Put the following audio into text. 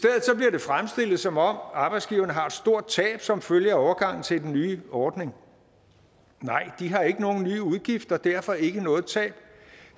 det fremstillet som om arbejdsgiverne har et stort tab som følge af overgangen til den nye ordning nej de har ikke nogen nye udgifter og derfor ikke noget tab